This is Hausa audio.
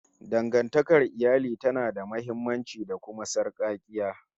Dangantakar iyali tana da muhimmanci, da kuma sarƙaƙiya